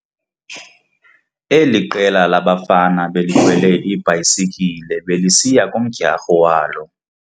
Eli qela labafana belikhwele iibhayisikile belisiya kumdyarho walo.